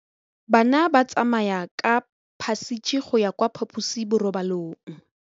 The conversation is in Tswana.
Bana ba tsamaya ka phašitshe go ya kwa phaposiborobalong.